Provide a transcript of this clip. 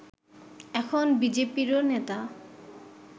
এখন বিজেপিরও নেতা